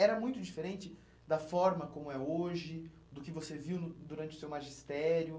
Era muito diferente da forma como é hoje, do que você viu no durante o seu magistério?